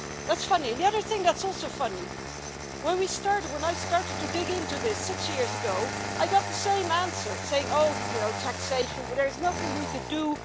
That's funny, and the other thing that is also funny is that when I started to dig into this, six years ago, I got the same answer Oh, you know, taxation there is nothing we can do.